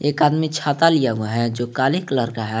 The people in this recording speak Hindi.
एक आदमी छाता लिया हुआ है जो काले कलर का है।